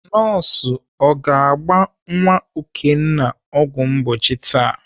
Nọọsụ ọ ga-agba nwa Okenna ọgwụ mgbochi taa?